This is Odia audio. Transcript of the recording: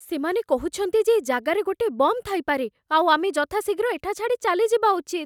ସେମାନେ କହୁଛନ୍ତି ଯେ ଏ ଜାଗାରେ ଗୋଟେ ବମ୍ ଥାଇପାରେ, ଆଉ ଆମେ ଯଥାଶୀଘ୍ର ଏଠା ଛାଡ଼ି ଚାଲିଯିବା ଉଚିତ ।